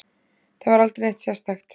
Það var aldrei neitt sérstakt.